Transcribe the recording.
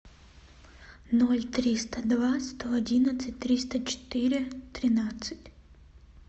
ноль триста два сто одинадцать триста четыре тринадцать